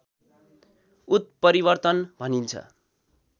उत्परिवर्तन भनिन्छ